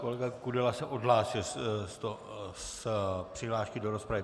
Kolega Kudela se odhlásil z přihlášky do rozpravy.